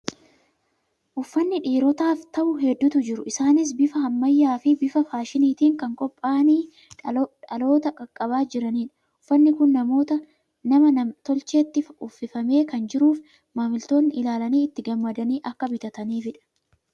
Uffanni dhiirotaaf ta'u hedduutu jiru. Isaanis bifa ammayyaa fi bifa faashiniitiin kan qophaa'anii dhaloota qaqqabaa jiranidha. Uffanni kun nama nam-tolcheetti uffifamee kan jiruuf, maamiltoonni ilaalanii itti gammadanii akka bitataniifi dha.